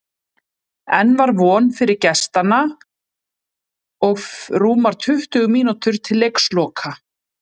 Enn var von fyrir gestanna og rúmar tuttugu mínútur til leiksloka.